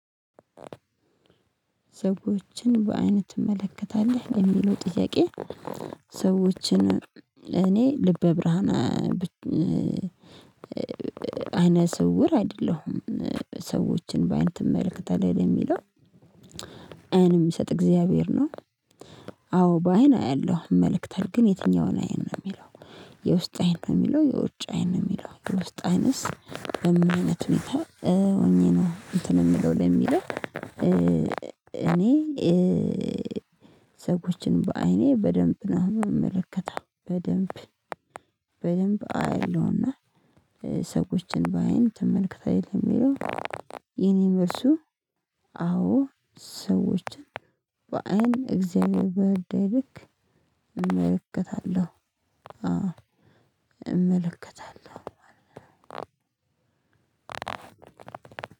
ሰዎችን በዓይንህ ትመለከታለህ ለሚለው ጥያቄ? ሰዎችን እኔ ልበ ብርሃን አይነ ስውር አይደለሁም። ሰዎችን በአይን ትመለከታለህ ለሚለው? አይንም የምሰጥ እግዚአብሔር ነው። አዎ በአይን አያለሁ እመለከታለው ግን የትኛውን አይን ነው የሚለው የውስጥ አይን ነው የሚለው የውጭ አይን የሚለው የውስጥ አይነት ምን አይነት ሁኔታ? ሆኜ ነው እንትን የምለው ለሚለው እኔ። ሰዎችን በአይኔ በደንብ ነው የምመለከተው በደንብ በደንብ አይለውና ሰዎችን በአይን ትመልከታለህ የሚለው የእኔ መልሱ። አዎ ሰዎችን በአይን እግዚአብሔር በረዳኝ ልክ እመለከታለሁ አዎ እመለከታለሁ።